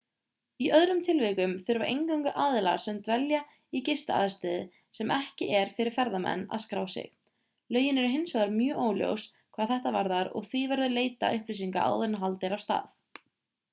í öðrum tilvikum þurfa eingöngu aðilar sem dvelja í gistiaðstöðu sem ekki er fyrir ferðamenn að skrá sig lögin eru hins vegar mjög óljós hvað þetta varðar og því verður að leita upplýsinga áður en haldið er af stað